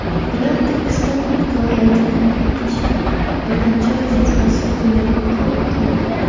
Ular Turkiston muxtoriyatini yiqitishni birlamchi vazifasi o‘laroq qabul qildi.